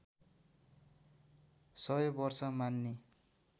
सय वर्ष मान्ने